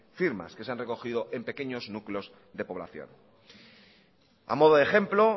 firmas que se han recogido en pequeños núcleos de población a modo de ejemplo